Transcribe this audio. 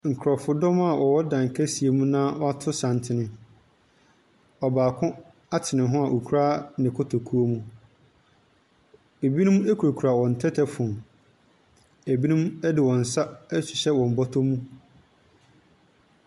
Nkurɔfodɔm a wɔwɔ dan kɛseɛ mu na wɔato santene. Ɔbaako ate ne ho a ɔkura ne kotokuo mu. Ɛbinom kurakura wɔn tɛtɛfon. Ɛbinom de wɔn nsa ahyehyɛ wɔn bɔtɔm.